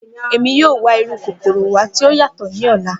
Emi yoo wa iru kokoro wa ti o yatọ ni ọla.